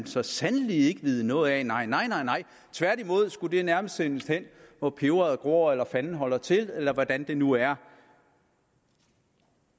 så sandelig ikke vide noget af nej nej tværtimod skulle det nærmest sendes hen hvor peberet gror eller fanden holder til eller hvordan det nu er